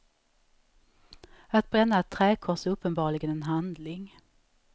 Att bränna ett träkors är uppenbarligen en handling.